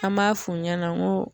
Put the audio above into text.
An m'a f'u ɲɛna n ko